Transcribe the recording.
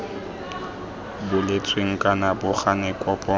boletsweng kana bo gane kopo